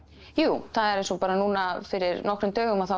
jú það eins og bara núna fyrir nokkrum dögum að þá